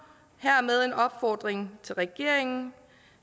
hermed en opfordring til regeringen